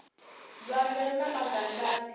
lwandle rina magadlati